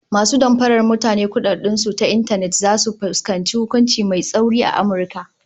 Masu damfarar mutane kudaden su ta intanet zasu fuskanci hukunci mai tsauri a Amurka